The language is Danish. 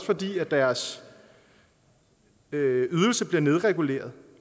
fordi deres ydelse bliver nedreguleret